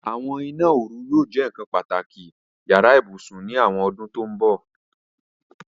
Àwọn ìná-orù yóò jẹ́ nkan pátàkì yàrà-íbusùn ni àwọn ọ̀dún tó n bọ̀.